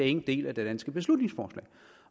en del af det danske beslutningsforslag